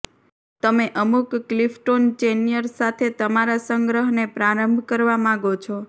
તમે અમુક Clifton Chenier સાથે તમારા સંગ્રહને પ્રારંભ કરવા માગો છો